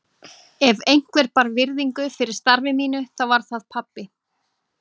Ef einhver bar virðingu fyrir starfi mínu þá var það pabbi.